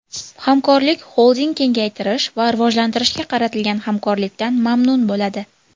Hamkorlik Xolding kengaytirish va rivojlantirishga qaratilgan hamkorlikdan mamnun bo‘ladi.